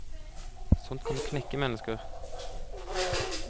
Sånt kan jo knekke mennesker!